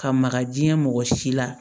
Ka maka jiɲɛ mɔgɔ si la